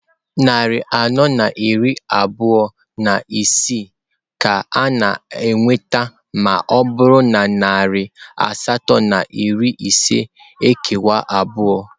Narị anọ na iri abụọ na isii ka a na-enweta ma ọ bụrụ na narị asatọ na iri ise ekewa abụọ.